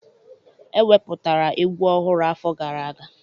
Eweputara egwu ọhụrụ afọ gara aga